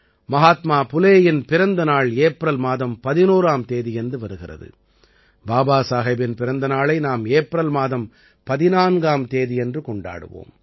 மஹாத்மா புலேயின் பிறந்த நாள் ஏப்ரல் மாதம் 11ஆம் தேதியன்று வருகிறது பாபா சாஹேபின் பிறந்த நாளை நாம் ஏப்ரல் மாதம் 14ஆம் தேதியன்று கொண்டாடுவோம்